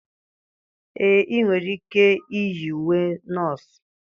ee, ị nwere ike iyi uwe nọọsụ